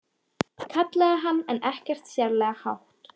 kallaði hann en ekkert sérlega hátt.